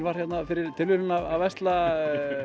var hérna fyrir tilviljun að versla